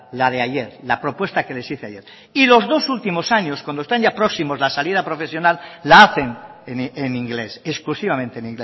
la de ayer la propuesta que les hice ayer y los dos últimos años cuando están ya próximos a la salida profesional la hacen en inglés exclusivamente en